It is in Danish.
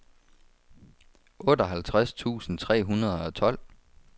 otteoghalvtreds tusind tre hundrede og tolv